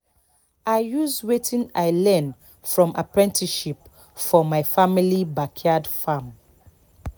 i use wetin i learn from apprenticeship for my family backyard farm